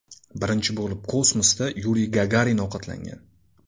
Birinchi bo‘lib kosmosda Yuriy Gagarin ovqatlangan.